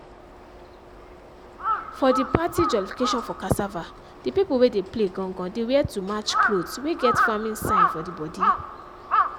for the party jollification for cassava the pipo wey dey play gan-gan dey wear too match clothes wey get farming sign for d body.